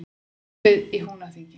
Hópið í Húnaþingi.